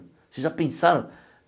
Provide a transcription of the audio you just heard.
Vocês já pensaram?